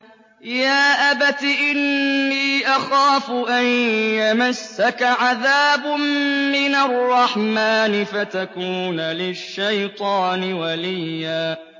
يَا أَبَتِ إِنِّي أَخَافُ أَن يَمَسَّكَ عَذَابٌ مِّنَ الرَّحْمَٰنِ فَتَكُونَ لِلشَّيْطَانِ وَلِيًّا